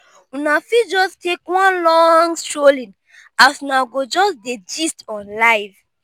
una fit jus take one long strolling as una go jus dey gist on life